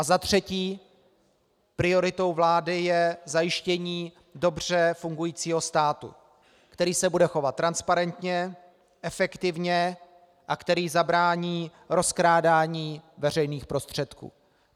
A za třetí, prioritou vlády je zajištění dobře fungujícího státu, který se bude chovat transparentně, efektivně a který zabrání rozkrádání veřejných prostředků.